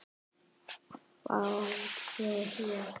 hváði ég.